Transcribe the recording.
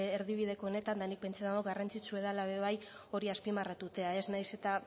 erdibideko honetan eta nik pentsatzen dut garrantzitsua dela ere bai hori azpimarratzea nahiz eta